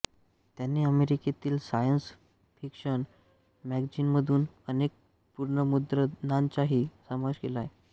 त्यांनी अमेरिकेतील science fiction मॅगझिनमधून अनेक पुनर्मुद्रणांचाही समावेश केला